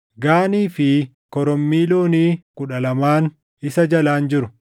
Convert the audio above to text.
gaanii fi korommii loonii kudha lamaan isa jalaan jiru;